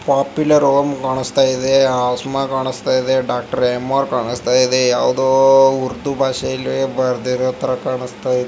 Popular home ಕಾಣಿಸ್ತಾಯಿದೆ ಆ ಸುಮಾ ಕಾಣಿಸ್ತಾಯಿದೆ ಡಾಕ್ಟರ್ ಎಂಆರ್ ಕಾಣಿಸ್ತಾಇದೆ ಯಾವುದೋ ಉರ್ದು ಭಾಷೆಯಲ್ಲಿ ಬರ್ದಿರೋ ತರ ಕಾಣಿಸ್ತಾಯಿದೆ.